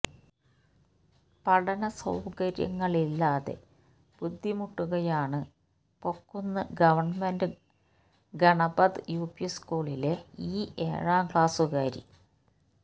പഠനസൌകര്യങ്ങളില്ലാതെ ബുദ്ധിമുട്ടുകയാണ് Pokkunnu government Ganapat UP സ്ക്കൂളിലെ ഈ ഏഴാം ക്ലാസുകാരി